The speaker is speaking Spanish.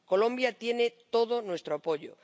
Colombia tiene todo nuestro apoyo.